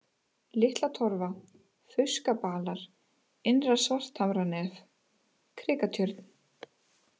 Litlatorfa, Fauskabalar, Innra-Svarthamranef, Krikatjörn